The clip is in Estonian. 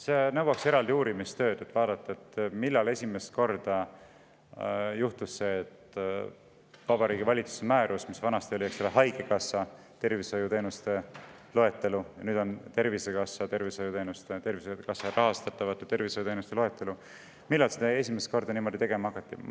See nõuaks eraldi uurimistööd, et vaadata, millal seda Vabariigi Valitsuse määrust, mis vanasti oli haigekassa tervishoiuteenuste loetelu ja nüüd on Tervisekassa tervishoiuteenuste loetelu, esimest korda niimoodi tegema hakati.